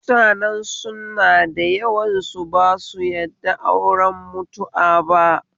Mutanen sunnah dayawan su basu yadda auren mutu'a ba